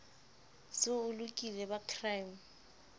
se o lokile ba crime